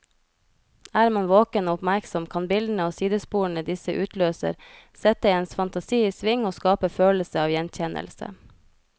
Er man våken og oppmerksom, kan bildene og sidesporene disse utløser, sette ens fantasi i sving og skape følelse av gjenkjennelse.